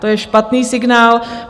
To je špatný signál.